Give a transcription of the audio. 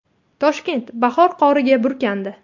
Toshkent bahor qoriga burkandi .